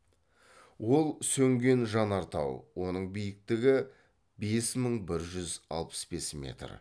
ол сөнген жанартау оның биіктігі бес мың бір жүз алпыс бес метр